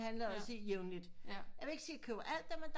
Handler jeg også i jævnligt jeg vil ikke sige jeg køber alt der men